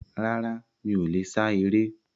Rárá, mí o le sá eré